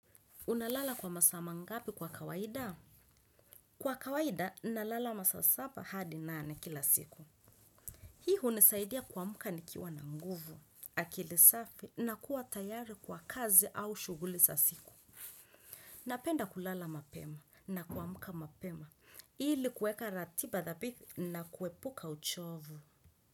Unalala kwa masaa mangapi kwa kawaida? Kwa kawaida, nalala masaa sapa hadi nane kila siku. Hii unisaidia kwa muka nikiwa na nguvu. Akili safi na kuwa tayari kwa kazi au shuguli sa siku. Napenda kulala mapema na kuamuka mapema. Ili kuekka ratipa thapiti na kuepuka uchovu.